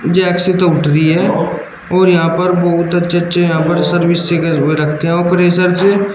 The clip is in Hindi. जैक से तो उठ रही है और यहां पर बहुत अच्छे अच्छे यहां पर सर्विस हुए रखे हैं वो प्रेशर से।